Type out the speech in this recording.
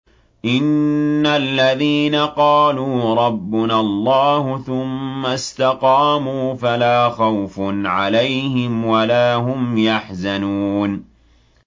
إِنَّ الَّذِينَ قَالُوا رَبُّنَا اللَّهُ ثُمَّ اسْتَقَامُوا فَلَا خَوْفٌ عَلَيْهِمْ وَلَا هُمْ يَحْزَنُونَ